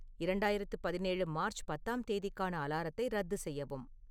இரண்டாயிரத்து பதினேழு மார்ச் பத்தாம் தேதிக்கான அலாரத்தை ரத்து செய்யவும்